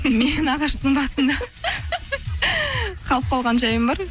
мен ағаштың басында қалып қалған жайым бар